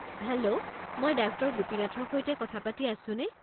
Hello মই ডাঃ গোপীনাথৰ সৈতে কথা পাতি আছোনে?